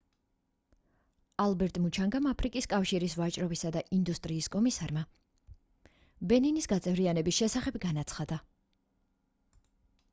ალბერტ მუჩანგამ აფრიკის კავშირის ვაჭრობისა და ინდუსტრიის კომისარმა ბენინის გაწევრიანების შესახებ განაცხადა